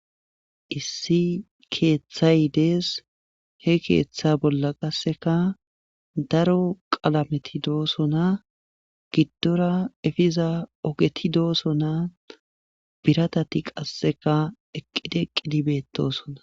issi keeththay dees he keeththa bolla qasseka daro qalameti doosona giddora efiza ogeti doosona biratati qasseka eqqidi eqqidi betosona